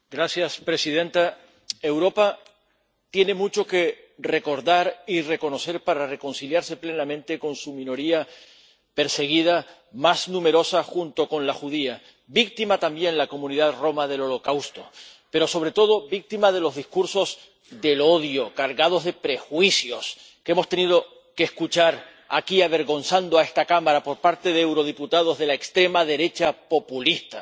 Señora presidenta, Europa tiene mucho que recordar y reconocer para reconciliarse plenamente con su minoría perseguida más numerosa junto con la judía, víctima también la comunidad romaní del holocausto, pero sobre todo víctima de los discursos del odio, cargados de prejuicios, que hemos tenido que escuchar aquí, avergonzando a esta Cámara, por parte de eurodiputados de la extrema derecha populista.